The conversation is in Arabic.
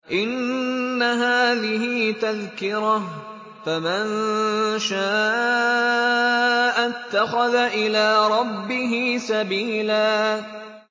إِنَّ هَٰذِهِ تَذْكِرَةٌ ۖ فَمَن شَاءَ اتَّخَذَ إِلَىٰ رَبِّهِ سَبِيلًا